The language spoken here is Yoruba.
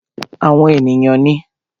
Àwọn èèyàn ní